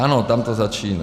Ano, tam to začíná.